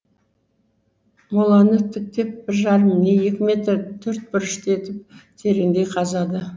моланы тіктеп бір жарым не екі метр төртбұрышты етіп тереңдей қазады